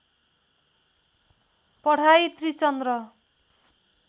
पढाइ त्रिचन्द्र